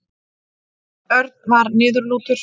Örn var niðurlútur.